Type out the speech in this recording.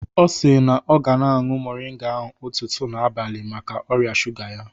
Ọ si na ọ ga na-añụ moringa ahụ ụtụtụ na abalị maka ọrịa shuga ya